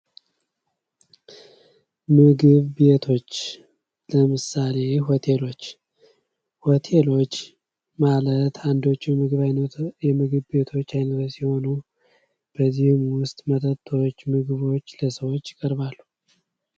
ቡና ቤቶች በዋናነት ቡናና ሌሎች ትኩስ/ቀዝቃዛ መጠጦችን የሚያቀርቡ ሲሆን ምግብ ቤቶች ደግሞ የተለያዩ ዓይነት ምግቦችን ያቀርባሉ።